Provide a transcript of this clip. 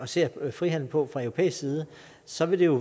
ser på frihandel på fra europæisk side så vil det jo